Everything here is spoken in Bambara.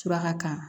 Suraka kan